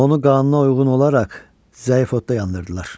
Onu qanına uyğun olaraq zəif odda yandırdılar.